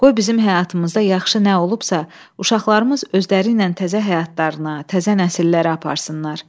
Qoy bizim həyatımızda yaxşı nə olubsa, uşaqlarımız özləriylə təzə həyatlarına, təzə nəsillərə aparsınlar.